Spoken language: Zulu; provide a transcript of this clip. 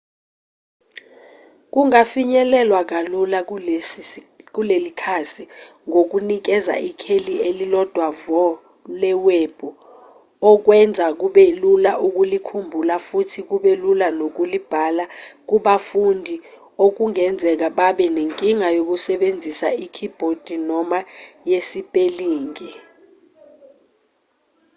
kungafinyelelwa kalula kuleli khasi ngokunikeza ikheli elilodwa vo lewebhu okwenza kube lula ukulikhumbula futhi kube lula nokulibhala kubafundi okungenzeka babe nenkinga yokusebenzisa ikhibhodi noma yesipelingi